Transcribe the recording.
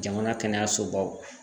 Jamana kɛnɛyasobaw